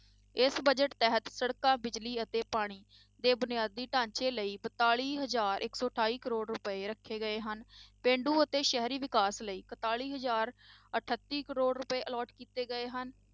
ਇਸ budget ਤਹਿਤ ਸੜਕਾਂ ਬਿਜ਼ਲੀ ਅਤੇ ਪਾਣੀ ਦੇ ਬੁਨਿਆਦੀ ਢਾਂਚੇ ਲਈ ਬਤਾਲੀ ਹਜ਼ਾਰ ਇੱਕ ਸੌ ਅਠਾਈ ਕਰੌੜ ਰੁਪਏ ਰੱਖੇ ਗਏ ਹਨ, ਪੇਂਡੂ ਅਤੇ ਸ਼ਹਿਰੀ ਵਿਕਾਸ ਲਈ ਇਕਤਾਲੀ ਹਜ਼ਾਰ ਅਠੱਤੀ ਕਰੌੜ ਰੁਪਏ allot ਕੀਤੇ ਗਏ ਹਨ